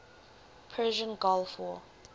persian gulf war